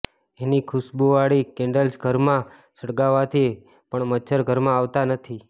એની ખુશ્બૂવાળી કેન્ડલ્સ ઘરમાં સળગાવવાથી પણ મચ્છર ઘરમાં આવતાં નથી